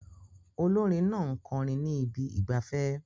Olórin náà ń kọrin ní ibi ìgbafẹ́